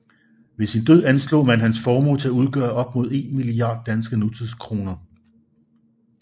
Ved sin død anslog man hans formue til at udgøre op mod en milliard danske nutidskroner